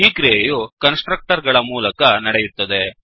ಈ ಕ್ರಿಯೆಯು constructor ಗಳ ಮೂಲಕ ನಡೆಯುತ್ತದೆ